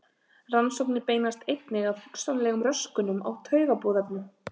Rannsóknir beinast einnig að hugsanlegum röskunum á taugaboðefnum.